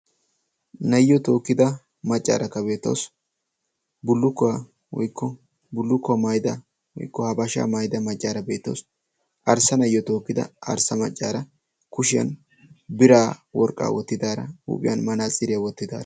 naayiyo tookkida maccaaraka beetawus bulukkuwaa woiykko bullukkuwaa maayida woykko ha bashaa maayida maccaara beetoos arssa nayyo tookkida arssa maccaara kushiyan biraa worqqaa wottidaara huuphiyan manaaciiriyaa wottida